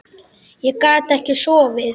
Ég gat ekki sofið.